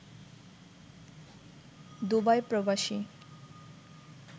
Dubai প্রবাসী